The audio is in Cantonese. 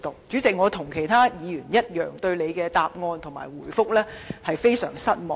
主席，我跟其他議員一樣，對局長的答覆非常失望。